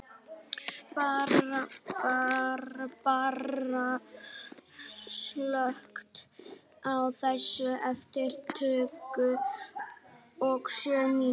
Barbara, slökktu á þessu eftir tuttugu og sjö mínútur.